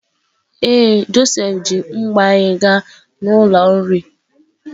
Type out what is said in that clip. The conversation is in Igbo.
Ee, Josef ji mbo anyị gaa n'ụlọ nri.